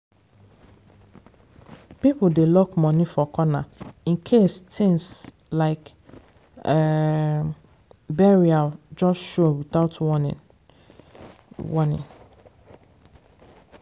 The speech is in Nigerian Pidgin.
people dey lock money for corner in case things like um burial just show without warning. warning.